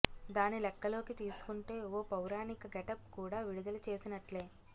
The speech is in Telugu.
దాన్ని లెక్కలోకి తీసుకుంటే ఓ పౌరాణిక గెటప్ కూడా విడుదల చేసినట్లే